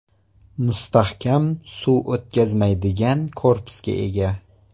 Mustahkam, suv o‘tkazmaydigan korpusga ega.